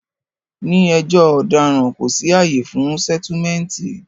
Ní ẹjọ́ ọ̀daràn, kò sí àyè fún sẹ́túmẹ̀ǹtì